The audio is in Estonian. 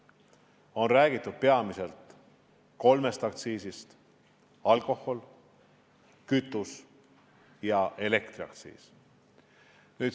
On räägitud peamiselt kolmest aktsiisist: alkoholi-, kütuse- ja elektriaktsiis.